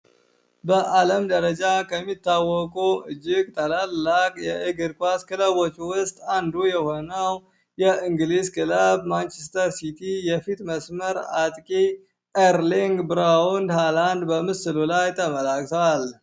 በአለም ደረጃ ከሚታወቁ እጅግ ታላላቅ የእግርኳስ ክለቦች ውስጥ አንዱ የሆነዉ ማንችስተር ሲቲ የፊት መስመር አጥቂ ብራውን ሀላንድ በምስሉ ላይ ተመልክተናል።